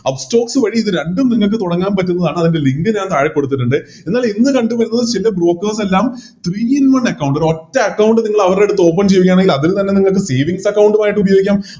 Upstox വഴി ഇത് രണ്ടും നിങ്ങക്ക് തൊടങ്ങാൻ പറ്റുന്നതാണ് അതിൻറെ Link ഞാൻ താഴെ കൊടുത്തിട്ടുണ്ട് എന്നാലിതിൻറെ ചില Brokers എല്ലാം Two in one account ഒരൊറ്റ Account നിങ്ങളവരെടുത്തത് Open ചെയ്യുകയാണെങ്കിൽ അതിൽ തന്നെ നിങ്ങക്ക് Savings account ആയിട്ട് ഉപയോഗിക്കാം